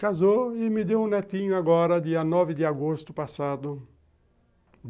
Casou e me deu um netinho agora, dia nove de agosto passado.